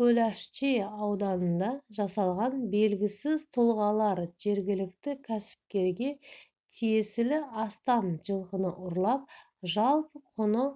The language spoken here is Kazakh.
көлашчи ауданында жасалған белгісіз тұлғалар жергілікті кәсіпкерге тиесілі астам жылқыны ұрлап жалпы құны